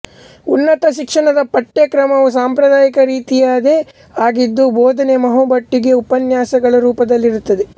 ಉನ್ನತ ಶಿಕ್ಷಣದ ಪಠ್ಯಕ್ರಮವೂ ಸಾಂಪ್ರದಾಯಿಕ ರೀತಿಯದೇ ಆಗಿದ್ದು ಬೋಧನೆ ಬಹುಮಟ್ಟಿಗೆ ಉಪನ್ಯಾಸಗಳ ರೂಪದಲ್ಲಿರುತ್ತದೆ